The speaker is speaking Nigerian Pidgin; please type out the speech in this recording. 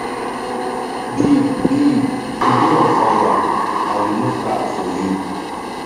babe babe you dey on fire i remove cap for you